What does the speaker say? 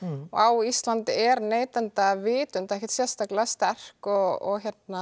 og á Íslandi er neytendavitund ekkert sérstaklega sterkt og